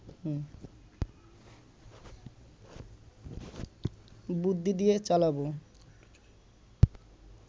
বুদ্ধি দিয়ে চালাবো